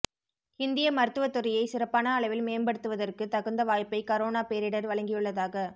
இந்திய மருத்துவ துறையை சிறப்பான அளவில் மேம்படுத்துவதற்கு தகுந்த வாய்ப்பை கரோனா பேரிடா் வழங்கியுள்ளதாக